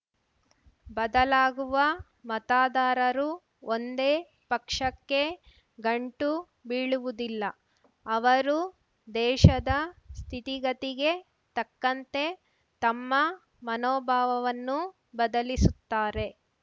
ಬದಲಾಗುವ ಮತದಾರರು ಒಂದೇ ಪಕ್ಷಕ್ಕೆ ಗಂಟು ಬೀಳುವುದಿಲ್ಲ ಅವರು ದೇಶದ ಸ್ಥಿತಿಗತಿಗೆ ತಕ್ಕಂತೆ ತಮ್ಮ ಮನೋಭಾವವನ್ನು ಬದಲಿಸುತ್ತಾರೆ